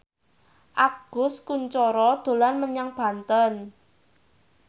Agus Kuncoro dolan menyang Banten